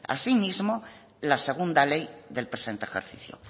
así mismo la segunda ley del presente ejercicio